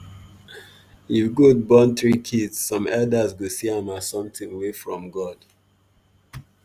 if goat born three kids some elders go see am as something from god.